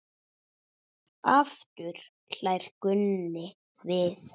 Aftur hlær Gunni við.